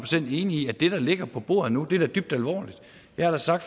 enig i at det der ligger på bordet nu er dybt alvorligt jeg sagde